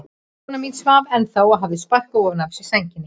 Kona mín svaf ennþá og hafði sparkað ofan af sér sænginni.